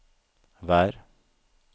vær